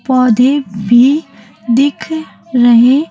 पौधे भी दिख रहे--